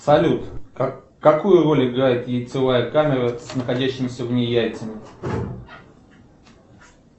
салют какую роль играет яйцевая камера с находящимися в ней яйцами